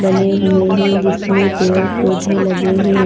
बने हुए हैं जिसमें पेड़ पौधे लगे हैं।